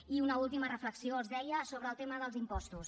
i una última reflexió els deia sobre el tema dels impostos